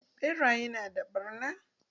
Ɓeraye na da ɓarna.